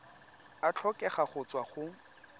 a tlhokega go tswa go